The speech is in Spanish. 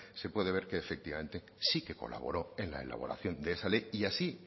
se puede ver que efectivamente sí que colaboró en la elaboración de esa ley y así